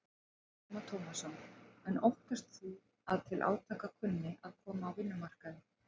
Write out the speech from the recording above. Telma Tómasson: En óttast þú að til átaka kunni að koma á vinnumarkaði?